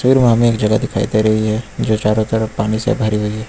फिर वहां में एक जगह दिखाई दे रही है जो चारों तरफ पानी से भरी हुई है।